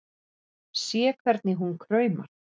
Sé hvernig hún kraumar.